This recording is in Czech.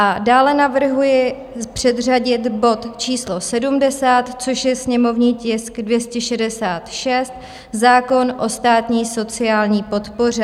A dále navrhuji předřadit bod číslo 70, což je sněmovní tisk 266, zákon o státní sociální podpoře.